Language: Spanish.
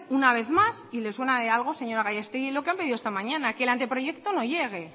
una vez más y le suena de algo señora gallasteggui lo que han pedido esta mañana que el anteproyecto no llegue